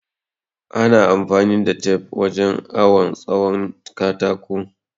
Ana amfani da tef wurin awon tsawon katako